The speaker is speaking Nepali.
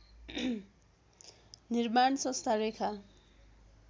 निर्माण संस्था रेखा